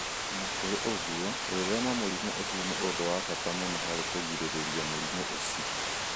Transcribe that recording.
O na kũrĩ ũguo, gwĩthema mũrimũ ũcio nĩ ũndũ wa bata mũno harĩ kũgirĩrĩria mũrimũ ũcio.